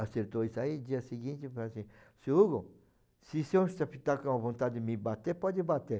Acertou isso aí, no dia seguinte, falou assim, seu Hugo, se o senhor está com vontade de me bater, pode bater.